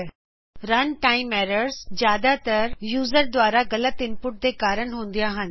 000615 000614 run time errors ਜਿਆਦਾਤਰ user ਦੁਆਰਾ ਗਲਤ ਇਨਪੁਟ ਦੇ ਕਾਰਣ ਹੁੰਦੀਆਂ ਹਨ